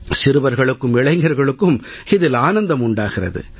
சிறுவர்களுக்கும் இளைஞர்களுக்கும் இதில் ஆனந்தம் உண்டாகிறது